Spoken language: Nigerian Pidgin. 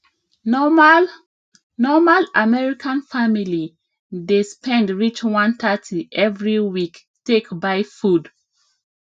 normal normal american family dey spend reach 130 every week take buy food